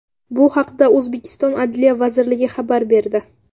Bu haqda O‘zbekiston Adliya vazirligi xabar berdi .